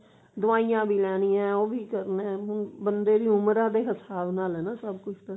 ਦਵਾਈਆਂ ਵੀ ਲੈਣੀਆਂ ਉਹ ਵੀ ਕਰਨਾ hm ਬੰਦੇ ਦੀ ਉਮਰਾਂ ਦੇ ਹਿਸਾਬ ਨਾਲ ਹੈ ਸਭ ਕੁਝ ਤਾਂ